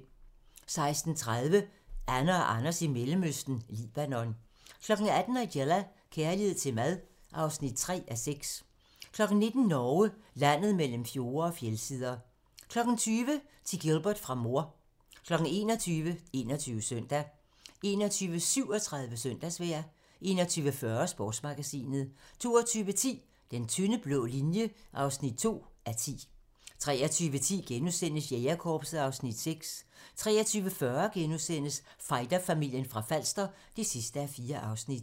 16:30: Anne og Anders i Mellemøsten - Libanon 18:00: Nigella – kærlighed til mad (3:6) 19:00: Norge - landet mellem fjorde og fjeldsider 20:00: Til Gilbert fra mor 21:00: 21 Søndag 21:37: Søndagsvejr 21:40: Sportsmagasinet 22:10: Den tynde blå linje (2:10) 23:10: Jægerkorpset (Afs. 6)* 23:40: Fighterfamilien fra Falster (4:4)*